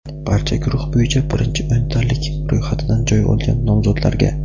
barcha guruh bo‘yicha birinchi o‘ntalik ro‘yxatidan joy olgan nomzodlarga:.